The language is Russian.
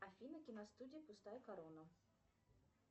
афина киностудия пустая корона